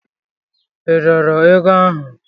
I dọọrọ ego ahụ?